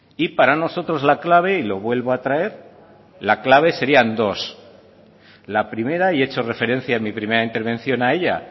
y para nosotros la clave y lo vuelvo a traer la clave sería dos la primera y he hecho referencia en mi primera intervención a ella